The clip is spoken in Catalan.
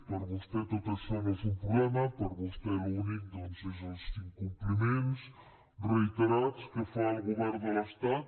per vostè tot això no és un problema per vostè l’únic doncs és els incompliments reiterats que fa el govern de l’estat